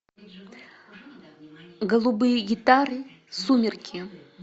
голубые гитары сумерки